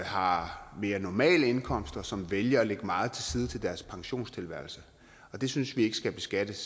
har mere normale indkomster som vælger at lægge meget til side til deres pensionstilværelse og det synes vi ikke skal beskattes